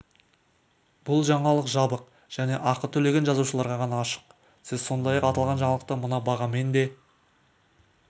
бұл жаңалық жабық және ақы төлеген жазылушыларға ғана ашық сіз сондай-ақ аталған жаңалықты мына бағамен де